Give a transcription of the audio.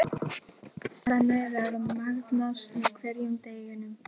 Telur Ívar að Skrælingjar hafi eytt byggðina.